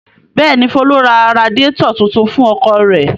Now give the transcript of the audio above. Bẹ́ẹ̀ ni, Folú ra radiátọ̀ tuntun fún ọkọ̀ rẹ̀.